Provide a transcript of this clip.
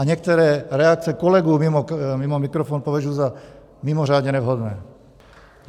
A některé reakce kolegů mimo mikrofon považuji za mimořádně nevhodné.